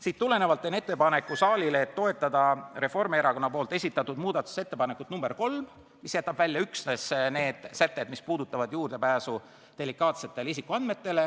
Siit tulenevalt teen saalile ettepaneku toetada Reformierakonna esitatud muudatusettepanekut nr 3, mis jätab eelnõust välja üksnes need sätted, mis puudutavad juurdepääsu delikaatsetele isikuandmetele.